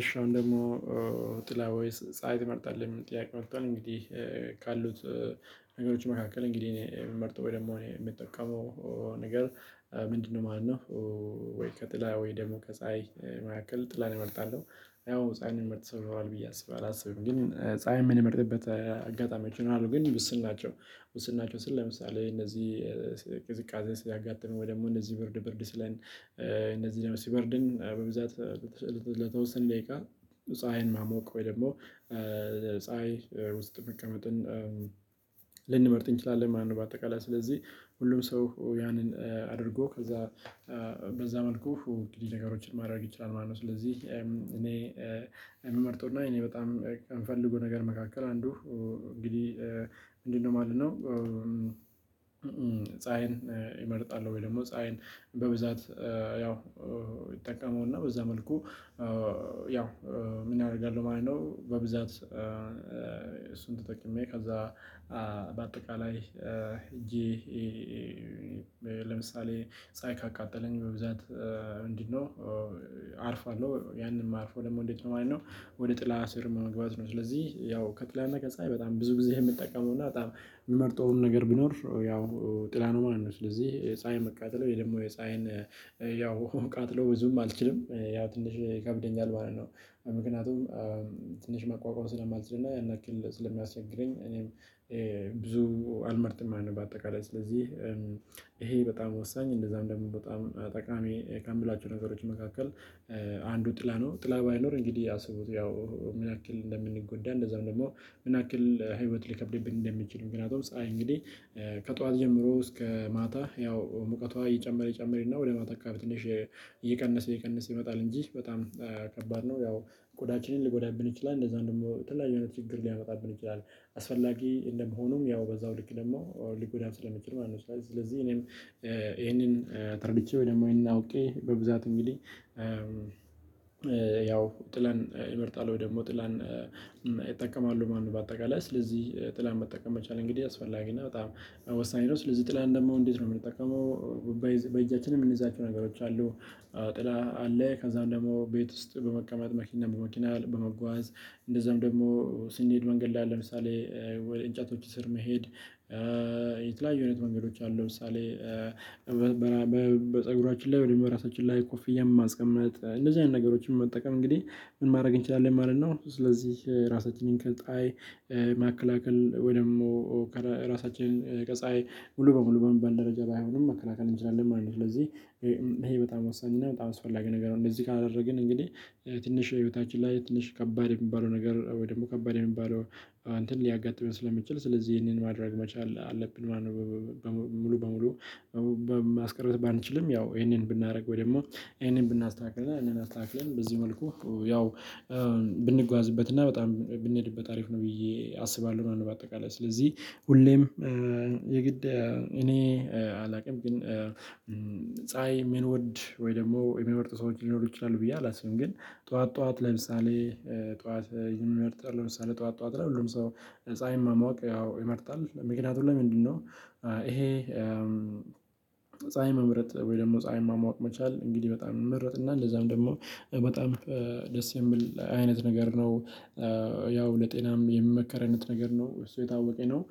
እሺ አሁን ደግሞ ጥላ ወይስ ፀሀይ ትመርጣለህ የሚል ጥያቄ ወቷል? እንግዲህ ካሉት ነገሮች መካከል እንግዲህ እኔ የምመርጠው ወይ ደግሞ ምጠቀመው ነገር ምንድን ነው ማለት ነው? ወይ ከጥላ ወይ ደግሞ ከፀሀይ መካከል ጥላን እመርጣለሁ። ያው ፀሀይን ሚመርጥ ሰው ይኖራል ብዬ አስባለሁ ግን ፀሀይን ምንመርጥበት አጋጣሚዎች ይኖራሉ ግን ውስን ናቸው። ውስን ናቸው ስል ለምሳሌ እነዚህ ቅዝቃዜ ሲያጋጥም ወይ ደግሞ እነዚህ ብርድ ብርድ ሢለን እነዚህ ደግሞ ሲበርድኝ በብዛት ለተወሰነ ደቂቃ ፀሀይን መሟቅ ወይ ደግሞ ፀሀይ ውስጥ መቀመጥን ልንመርጥ እንችላለን ማለት ነው። በአጠቃላይ ስለዚህ ሁሉም ሰው ያንን አድርጎ ከዛ በዛ መልኩ እንግዲህ ነገሮችን ማድረግ ይችላል ማለት ነው። ስለዚህ እኔ ምመርጠው እና እኔ በጣም ከምፈልገው ነገር መካከል አንዱ እንግዲህ ምንድን ነው ማለት ነው? ፀሀይን ይመርጣሉ ወይ ደግሞ ፀሀይን በብዛት ያው ይጠቀሙና በዛ መልኩ ያው ምን ያደርጋሉ? ማለት ነው በብዛት እሱን ተጠቅሜ ከዛ በአጠቃላይ ሄጄ ጄ ለምሳሌ ፀሀይ ካቃጠለኝ በብዛት እንዲህ ነው አርፋለሁ ያንን ማርፈው ደፙ እንዴት ነው ማለት ነው። ወደ ጥላ ስር መግባት ነው ስለዚህ ያው ከጥላና ከፀሀይ በጣም ብዙ ጊዜ የምጠቀመው እና በጣም ምመርጠውም ነገር ቢኖር ያው ጥላ ነው ማለት ነው። ስለዚህ ፀሀይ መቃጠል ወይ ደግሞ የፀሀይን ያው ቃጠሎ ብዙም አልችልም ያው ትንሽ ይከብደኛል ማለት ነው። ምክንያቱም ትንሽ መቋቋም ሥለማልችል እና ያን ያክል ሥለሚያስቸግረኝ እኔም ብዙ አልመርጥም ማለት ነው። በአጠቃላይ ሥለዚህ ይሄ በጣም ወሳኝ እንደዛ እንደምወጣ በጣም ጠቃሚ ከምላቸው ነገሮች መካከል አንዱ ጥላ ነው ጥላ ባይኖር እንግዲህ አስቡት ያው ምንያክል እንደምንጎዳ እንደዚያውም ደግሞ ምንያክል ለህይወት ሊከብድብን እንደሚችል። ምክንያቱም ፀሀይ እንግዲህ ከጧት ጀምሮ እስከ ማታ ያው ሙቀቷ ይጨመር ይጨመር እና ወደ ማታ አካባቢ ትንሽ እየቀነሰ እየቀነሰ ይመጣል እንጂ በጣም ከባድ ነው። ያው ቆዳችንን ሊጎዳብን ይችላል እንደዚያውም ደግሞ ለተለያዩ አይነት ችግር ሊያመጣብን ይችላል አስፈላጊ እንደመሆኑም ያው በዛው ልክ ደግሞ ሊጎዳም ስለሚችል ማለት ነው። ስለ ስለዚህ እኔም ይሄንን ተረድቼ ወይ ደግሞ ይሄንን አውቄ በብዛት እንግዲህ ያው ጥላን እመርጣለሁ ወይ ደግሞ ጥላን እጠቀማለሁ ማለት ነው። በአጠቃላይ ሥለዚህ ጥላ መጠቀም መቻል እንግዲህ አስፈላጊ እና በጣም ወሳኝ ነው። ሥለዚህ ጥላን ደግሞ እንዴት ነው ምንጠቀመው? በእዚ በእጃችንም ምንይዛቸው ነገሮች አሉ። ጥላ አለ ከዛም ደግሞ ቤት ውስጥ በመቀመጥ መኪና በመኪና በመጓዝ እንደዛም ደግሞ ሥንሄድ መንገድ ላይ አለ። ለምሳሌ ወይ እንጨቶች ስር መሄድ የተለያዩ አይነት መንገዶች አሉ። ለምሳሌ በፀጉራችን ላይ ወይም ደግሞ በራሳችን ላይ ኮፍያ ማስቀምጥ እንደዚህ አይነት ነገሮችን መጠቀም እንግዲህ ምን ማድረግ እንችላለን ማለት ነው። ሥለዚህ ራሳችንን ከፀሀይ መከላከል ወይም ደግሞ ራሳችንን ከፀሀይ ሙሉ በሙሉ በሚባል ደረጃ ባይሆንም መከላከል እንችላለን ማለት ነው። ሥለዚህ ይሄ ይሄ በጣም ወሳኝ እና በጣም አስፈላጊ ነገር ነው። እንደዚህ ካደረግን እንግዲህ ትንሽ ህይወታችን ላይ ትንሽ ከባድ ሚባለው ነገር ወይ ደግሞ ከባድ የሚባለው እንትን ሊያጋጥመን ሥለሚችል ስለዚህ ይሄንን ማድረግ መቻል አለብን ማለት ነው። ሙሉ በሙሉ ማስቀረት ባንችልም ያው ይሄንን ብናደርግ ወይ ደግሞ ይሄንን ብናስተካክል ይህንን አስተካክለን በዚህ መልኩ ያው ብንጓዝበት እና በጣም ብንሄድበት አሪፍ ነው። ብዬ አስባለሁ ነው። በአጠቃላይ ሥለዚህ ሁሌም የግድ እኔ አላውቅም ግን ፀሀይን ምንወድ ወይ ደግሞ ምንመርጥ ሰዎች ሊኖሩ ይችላሉ ብዬ አላስብም። ግን ጧዋት ጧዋት ለምሳሌ ጧዋት ይመርጣሉ ለምሳሌ ጧዋት ጧዋት ለሁሉም ሰው ፀሀይን መሟቅ ያው ይመርጣል ምክንያቱም ለምንድነው ይሄ ፀሀይ መምረጥ ወይ ደግሞ ፀሀይ መሟቅ መቻል እንግዲህ በጣም ሚመረጥ እና እንደዚያውም ደግሞ በጣም ደስ የሚል አይነት ነገር ነው። ያው ለጤናም የሚመከር አይነት ነገር ነው እሱ እየታወቀኝ ነው።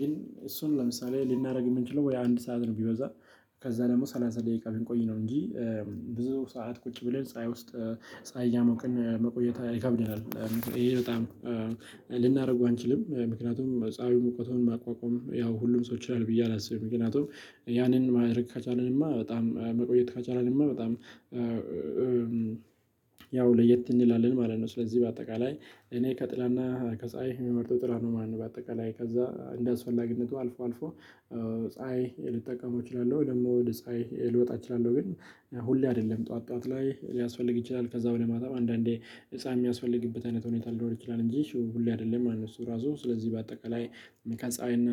ግን እሱን ለምሳሌ ልናደርግ የምንችለው ወይ አንድ ሰዓት ነው ቢበዛ ከዛ ደግሞ ሰላሳ ደቂቃ ልንቆይ ነው እንጂ ብዙ ሠዓት ቁጭ ብለን ፀሀይ ውስጥ ፀሀይ እየምቅን መቆየት ይከብደናል። ይሄ በጣም ልናደርገው አንችልም ምክንያቱም ፀሀዩን ሙቀቱን መቋቋም ያው ሁሉም ሰው ይችላል ብዬ አላስብም። ምክንያቱም ያንን ማድረግ ከቻልን እማ በጣም መቆየት ከቻልን እማ በጣም ያው ለየት እንላለን ማለት ነው። ሥለዚህ በአጠቃላይ እኔ ከጥላና ከፀሀይ ምመርጠው ጥላ ነው ማለት ነው። በአጠቃላይ ከዛ እንደ አስፈላጊነቱ አልፎ አልፎ ፀሀይ ልጠቀመው እችላለሁ ደግሞ ወደ ፀሀይ ልወጣ እችላለሁ ግን ሁሌ አይደለም ጧዋት ጧዋት ላይ ሊያስፈልግ ይችላል ከዛ ወደ በኋላ አንዳንዴ ፀሀይ ሚያስፈልግበት አይነት ሁኔታ ሊኖር ይችላል እንጂ እሱ ሁሌ አይደለም ማለት ነው። እሱ ራሱ ስለዚህ በአጠቃላይ መከ ከፀሀይ እና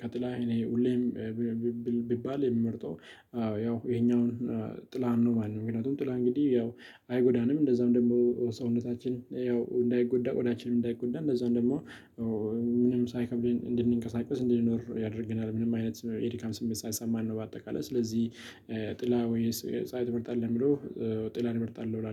ከጥላ እኔ ሁሌም ብ ብ ብባል የምመርጠው ያው ይሄኛውን ጥላን ነው ማለት ነው። ምክንያቱም ጥላ እንግዲህ ያው አይጎዳንም እንደዚያውም ደግሞ ሰውነታችን ያው እንዳይጎዳ ቆዳችንም እንዳይጎዳ እንደዚያውም ደግሞ ምንም ሣይከብድ እንድንቀሳቀስ እንድንኖር ያደርገናል ምንም አይነት የድካም ሥሜት ሣይሰማን ነው። በአጠቃላይ ሥለዚህ ጥላ ወይስ የ ፀሀይ ትመርጣለህ ቢሉ ጥላ እምር ጣለሁ እላለሁ